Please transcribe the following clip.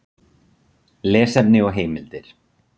Lesefni og heimildir: